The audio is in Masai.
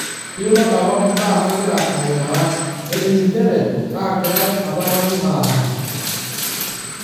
Etayiolo apa imbaa nagira aimaa, nening' njere kaagirai apa nanu aara.